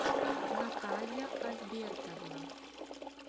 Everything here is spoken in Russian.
наталья альбертовна